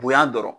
Bonya dɔrɔn